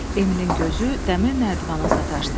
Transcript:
Emilin gözü dəmir nərdivana sataşdı.